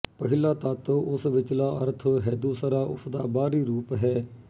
ਪਹਿਲਾ ਤੱਤ ਉਸ ਵਿਚਲਾ ਅਰਥ ਹੈਦੂਸਰਾ ਉਸ ਦਾ ਬਾਹਰੀ ਰੂਪ ਹੈ